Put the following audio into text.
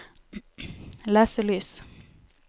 leselys